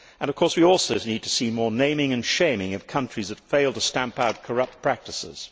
Of course, we also need to see more naming and shaming of countries that fail to stamp out corrupt practices.